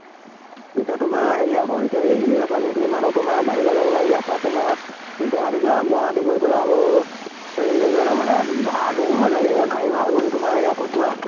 এতিয়া তোমাৰ হেৰি আকৌ এতিয়া এই ইয়াৰ পা যোন খিনি মানুহ তোমাৰ বাহিৰলৈ যাবলৈ ইয়াৰ পা তোমাৰ গুৱাহাটী যোৱা, গুৱাহাটী গৈ পালে আকৌ হেৰিলৈ যোৱালৈ মানে ভাড়া দুগুন হৈযায় গে। এয়া গাড়ী ভাড়া বুলি তোমাৰ airport যোৱা